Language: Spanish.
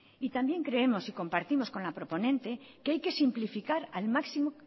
también creemos y compartimos con la proponente que hay que simplificar al máximo